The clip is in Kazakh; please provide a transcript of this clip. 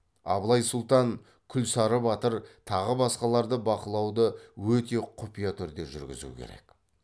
абылай сұлтан күлсары батыр тағы басқаларды бақылауды өте құпия түрде жүргізу керек